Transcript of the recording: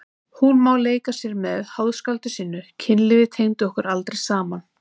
Hún má leika sér með háðskáldinu sínu, kynlífið tengdi okkur aldrei saman.